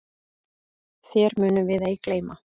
Þér munum við ei gleyma.